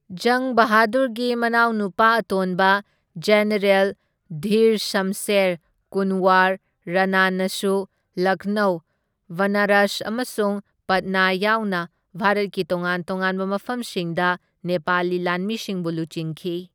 ꯖꯪ ꯕꯍꯥꯗꯨꯔꯒꯤ ꯃꯅꯥꯎꯅꯨꯄꯥ ꯑꯇꯣꯟꯕ ꯖꯦꯅꯔꯦꯜ ꯙꯤꯔ ꯁꯝꯁꯦꯔ ꯀꯨꯟꯋꯔ ꯔꯥꯅꯥꯅꯁꯨ ꯂꯈꯅꯧ, ꯕꯅꯥꯔꯁ ꯑꯃꯁꯨꯡ ꯄꯠꯅꯥ ꯌꯥꯎꯅ ꯚꯥꯔꯠꯀꯤ ꯇꯣꯉꯥꯟ ꯇꯣꯉꯥꯟꯕ ꯃꯐꯝꯁꯤꯡꯗ ꯅꯦꯄꯥꯂꯤ ꯂꯥꯟꯃꯤꯁꯤꯡꯕꯨ ꯂꯨꯆꯤꯡꯈꯤ꯫